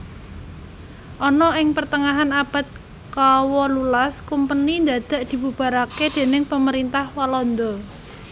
Ana ing pertengahan abad kawolulas kumpeni ndadak dibubarake déning pemerintah Walanda